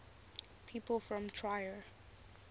people from trier